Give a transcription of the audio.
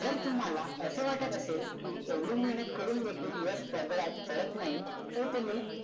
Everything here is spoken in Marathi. जर तुम्हाला असे वाटत असेल की एवढी मेहनत करून देखील यश पदरात पडत नाही तर तुम्ही